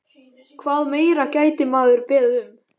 Hvað meira gæti maður beðið um?